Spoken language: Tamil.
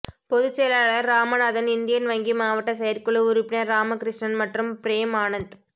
பொதுச் செயலாளர் ராமநாதன் இந்தியன் வங்கி மாவட்ட செயற்குழு உறுப்பினர் ராமகிருஷ்ணன் மற்றும் பிரேம் ஆனந்த்